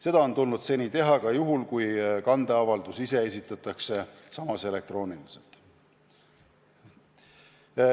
Seda on tulnud seni teha ka juhul, kui kandeavaldus ise esitatakse elektrooniliselt.